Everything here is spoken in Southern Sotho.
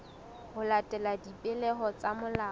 ho latela dipehelo tsa molao